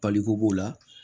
Paliko b'o la